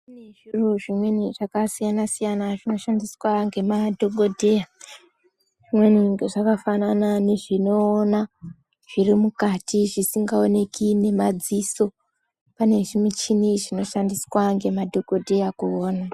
Kune zviro zvimweni zvakasiyana siyana zvinoshandiswa ngemadhokodheya. Zvimweni zvakafanana nazvinoona zviri mukat zvisingaoneki ngemadziso, pane zvimuchini zvinoshandiswa ngemadhokodheya kuona.